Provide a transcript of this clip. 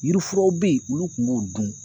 Yirifuraw be ye olu kun b'o dun